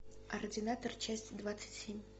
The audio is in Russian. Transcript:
ординатор часть двадцать семь